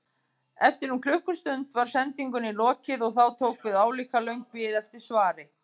Eftir um klukkustund var sendingunni lokið og þá tók við álíka löng bið eftir svari.